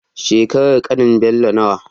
Shekarar ƙanin Bello nawa?